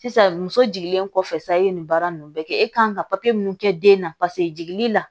Sisan muso jiginlen kɔfɛ sayi nin baara ninnu bɛɛ kɛ e kan ka papiye mun kɛ den na paseke jiginli la